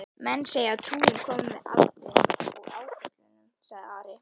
Menn segja trúin komi með aldrinum og áföllunum, sagði Ari.